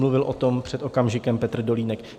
Mluvil o tom před okamžikem Petr Dolínek.